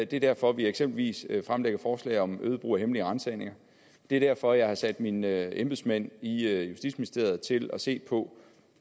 det er derfor vi eksempelvis fremlægger forslag om øget brug af hemmelige ransagninger det er derfor jeg har sat mine embedsmænd i justitsministeriet til at se på